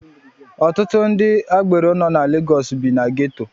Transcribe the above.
Ọtụtụ ndị agbero nọ na Legọọsụ bi na geto.